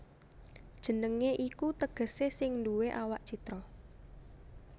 Jenengé iku tegesé sing nduwé awak citra